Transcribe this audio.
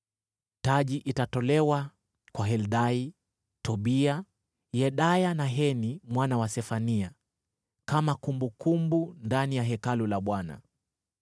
Taji itatolewa kwa Heldai, Tobia, Yedaya na Heni mwana wa Sefania kama kumbukumbu ndani ya Hekalu la Bwana .